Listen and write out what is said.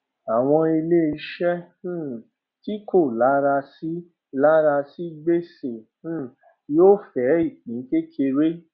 àwọn iléiṣẹ um tí kò lara sí lara sí gbèsè um yóò fẹ ìpín kékeré